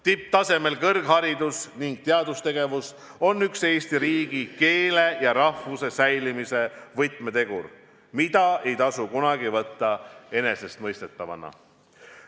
Tipptasemel kõrgharidus ning teadustegevus on üks Eesti riigi, keele ja rahvuse säilimise võtmetegur, mida ei tasu kunagi võtta enesestmõistetavana.